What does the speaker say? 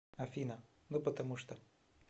афина ну потому что